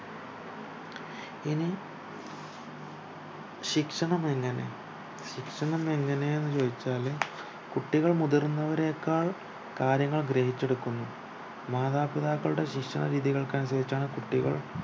ഇനി ശിക്ഷണം എങ്ങനെ ശിക്ഷണം എങ്ങനെന്നു ചോയിച്ചാല് കുട്ടികൾ മുതിർന്നവരേക്കാൾ കാര്യങ്ങൾ ഗ്രഹിച്ചെടുക്കുന്നു മാതാപിതാക്കളുടെ ശിക്ഷണ രീതികൾക്കനുസരിച്ചാണ് കുട്ടികൾ